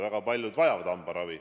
Väga paljud vajavad hambaravi.